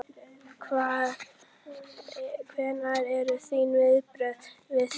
Hvað, hver eru þín viðbrögð við því?